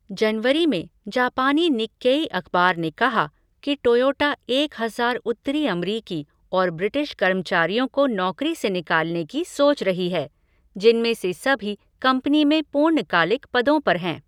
जनवरी में, जापानी निक्केई अख़बार ने कहा कि टोयोटा एक हजार उत्तरी अमरीकि और ब्रिटिश कर्मचारियों को नौकरी से निकालने की सोच रही है, जिनमें से सभी कंपनी में पूर्णकालिक पदों पर हैं।